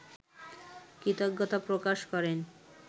কৃতজ্ঞতা প্রকাশ করেন